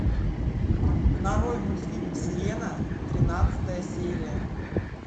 нарой мультфильм сирена тринадцатая серия